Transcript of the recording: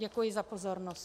Děkuji za pozornost.